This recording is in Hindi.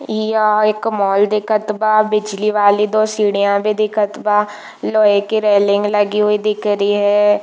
या एक मॉल दिखत बा बिजली वाली दो सीढ़ीयाँ भी दिखत बा लोहे की रेलिंग लगी दिख रही है।